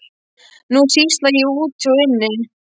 Nú sýsla ég úti og inni.